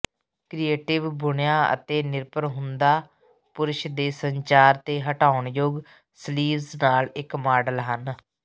creative ਬੁਣਿਆ ਤੇ ਨਿਰਭਰ ਹੁੰਦਾ ਪੁਰਸ਼ ਦੇ ਸੰਚਾਰ ਤੇ ਹਟਾਉਣਯੋਗ ਸਲੀਵਜ਼ ਨਾਲ ਇੱਕ ਮਾਡਲ ਹਨ